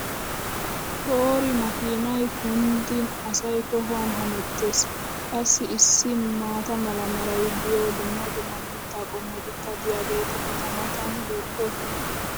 poori makkiinay kunddin asay tohuwan hemmetees! qassi issi maata mala meray diyo dumma dumma mitaa qommotikka diyaageeti eta matan beetoosona